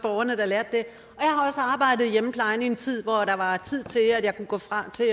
arbejdet i hjemmeplejen i en tid hvor der var tid til at jeg kunne gå fra til